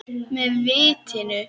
Með vitinu.